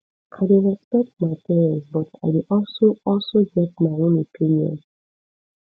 i dey respect my parents but i dey also also get my own opinion